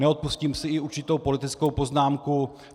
Neodpustím si i určitou politickou poznámku.